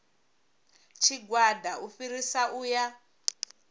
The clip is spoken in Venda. tshigwada u fhirisa u ya